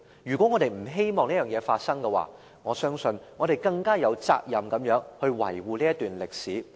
如果我們不希望這件事發生，我相信我們更有責任維護這段歷史。